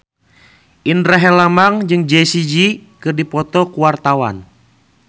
Indra Herlambang jeung Jessie J keur dipoto ku wartawan